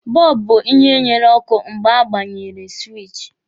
Bọlbụ bụ ihe nyere ọkụ mgbe a gbanyere siwichi.